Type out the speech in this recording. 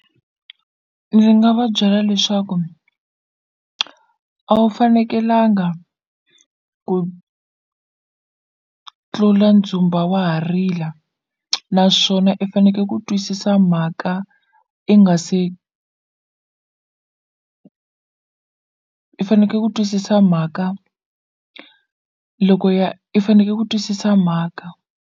Ndzi nga va byela leswaku a wu fanekelanga ku tlula ndzumba wa ha rila naswona i faneke ku twisisa mhaka i nga se i faneke ku twisisa mhaka loko ya i faneke ku twisisa mhaka.